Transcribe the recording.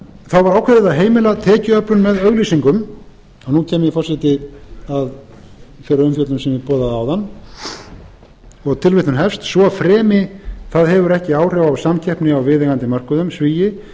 þá var ákveðið að heimila tekjuöflun með auglýsingum og nú kem ég forseti að þeirri umfjöllun sem ég boðaði áðan og tilvitnun hefst svo fremi það hefur ekki áhrif á samkeppni á viðeigandi mörkuðum